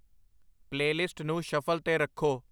playlist ਨੂੰ shuffle 'ਤੇ ਰੱਖੋ